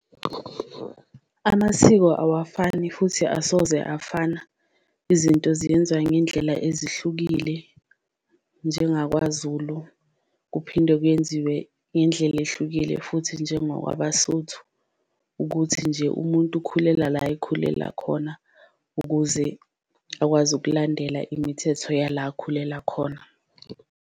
Amasiko awafani futhi asoze afana izinto ziyenziwa ngendlela ezihlukile njengakwaZulu, kuphinde kuyenziwe ngendlela ehlukile futhi njengokwabaSotho. Ukuthi nje umuntu ukhulela la ekhulela khona ukuze akwazi ukulandela imithetho yala akhulela khona.